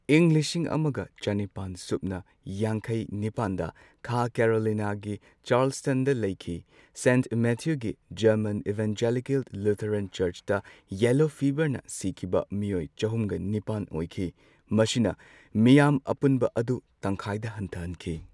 ꯏꯪ ꯂꯤꯁꯤꯡ ꯑꯃꯒ ꯆꯅꯤꯄꯥꯟ ꯁꯨꯞꯅ ꯌꯥꯡꯈꯩ ꯅꯤꯄꯥꯟꯗ ꯈꯥ ꯀꯦꯔꯣꯂꯤꯅꯥꯒꯤ ꯆꯥꯔꯜꯁꯇꯟꯗ ꯂꯩꯈꯤ꯫ ꯁꯦꯟꯠ ꯃꯦꯊ꯭ꯌꯨꯒꯤ ꯖꯔꯃꯟ ꯏꯕꯥꯟꯖꯦꯂꯤꯀꯦꯜ ꯂꯨꯊꯔꯟ ꯆꯔꯆꯇ ꯌꯦꯂꯣ ꯐꯤꯕꯔꯅ ꯁꯤꯈꯤꯕ ꯃꯤꯑꯣꯏ ꯆꯍꯨꯝꯒ ꯅꯤꯄꯥꯟ ꯑꯣꯏꯈꯤ꯫ ꯃꯁꯤꯅ ꯃꯤꯌꯥꯝ ꯑꯄꯨꯟꯕ ꯑꯗꯨ ꯇꯪꯈꯥꯏꯗ ꯍꯟꯊꯍꯟꯈꯤ꯫